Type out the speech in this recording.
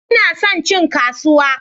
Ina son cin kasuwa